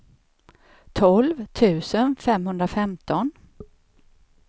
tolv tusen femhundrafemton